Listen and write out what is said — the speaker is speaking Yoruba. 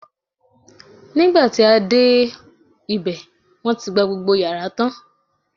nigba ti a dẹ obe, won ti gba gbogbo yara tan